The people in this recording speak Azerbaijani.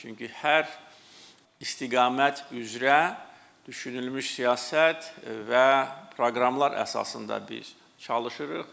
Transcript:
Çünki hər istiqamət üzrə düşünülmüş siyasət və proqramlar əsasında biz çalışırıq.